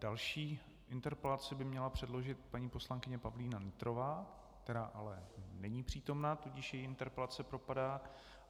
Další interpelaci by měla předložit paní poslankyně Pavlína Nytrová, která ale není přítomna, tudíž její interpelace propadá.